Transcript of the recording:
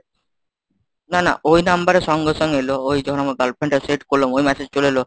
না না ওই number এ সঙ্গে সঙ্গে এলো ওই যখন আমার girlfriend টা set করলাম ওই message চলে এলো।